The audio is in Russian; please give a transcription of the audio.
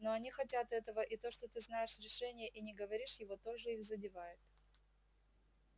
но они хотят этого и то что ты знаешь решение и не говоришь его тоже их задевает